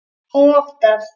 og mátar.